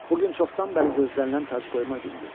Bu gün çoxdan bəri gözlənilən tacqoyma günüdür.